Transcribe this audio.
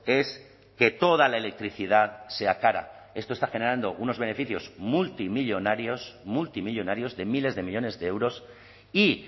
es que toda la electricidad sea cara esto está generando unos beneficios multimillónarios multimillónarios de miles de millónes de euros y